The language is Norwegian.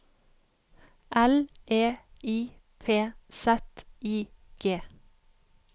L E I P Z I G